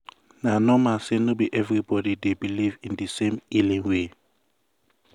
na normal say no be everybody dey believe in di same healing way.